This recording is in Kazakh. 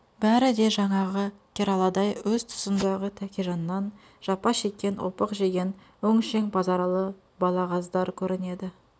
бәрі де жаңағы кераладай өз тұсындағы тәкежаннан жапа шеккен опық жеген өңшең базаралы балағаздар көрінеді